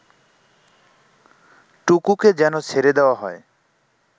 টুকুকে যেন ছেড়ে দেয়া হয়